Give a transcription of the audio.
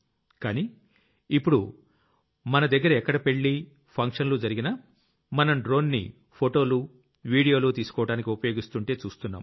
కానీ ఇప్పుడు మన దగ్గర ఎక్కడ పెళ్లి ఫంక్షన్లు జరిగినా మనం డ్రోన్ ని ఫోటోలు వీడియోలు తీసుకోవడానికి ఉపయోగిస్తుంటే చూస్తున్నాం